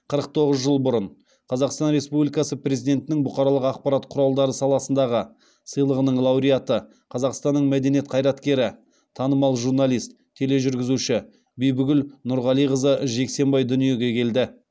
қырық тоғыз жыл бұрын қазақстан республикасы президентінің бұқаралық ақпарат құралдары саласындағы сыйлығының лауреаты қазақстанның мәдениет қайраткері танымал журналист тележүргізуші бибігүл нұрғалиқызы жексенбай дүниеге келді